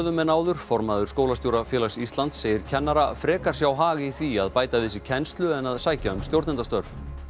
en áður formaður Skólastjórafélags Íslands segir kennara frekar sjá hag í því að bæta við sig kennslu en að sækja um stjórnendastörf